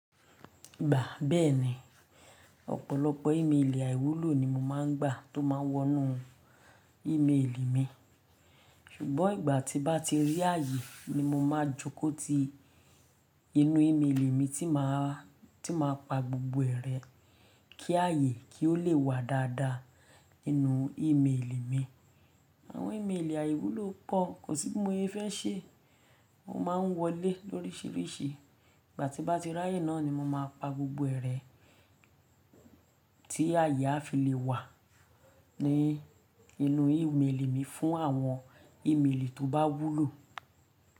Gba beeni, opolopo imeeli aiwulo ni mo ma n gba to ma n wonu imeeli mi sugbon igba ti ba ti ri aye ni mo ma jo ko ti inu imeeli mi ti ma, ti ma pa gbogbo e re ki aye ki o le wa dada ninu imeeli mi. Awon imeeli aiwulo po, ko si bi moye fe se, won ma n wo le lorisi risi. Igba ti ba ti ri aye naa ni mo ma pa gbogbo ere ti aye a fi le wa ni inu imeeli mi fun awon imeeli to ba wulo.